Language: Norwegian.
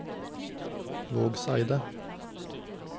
Vågseidet